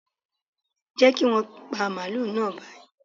Jẹ́ kí wọn pa màálù náà báyìí.